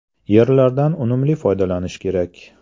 Yerlardan unumli foydalanish kerak.